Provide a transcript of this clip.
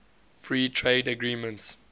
free trade agreements